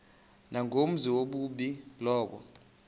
nangumenzi wobubi lowo